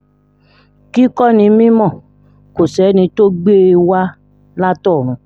kíkọ́ ni mímọ́ kò sẹ́ni tó gbé e wá látọ̀run